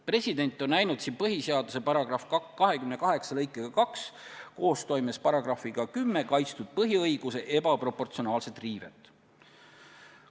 President on näinud siin põhiseaduse § 28 lõikega 2 – koostoimes §-ga 10 – kaitstud põhiõiguse ebaproportsionaalset riivet.